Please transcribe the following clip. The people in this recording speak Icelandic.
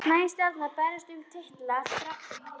Nær Stjarnan að berjast um titla þrátt fyrir miklar breytingar?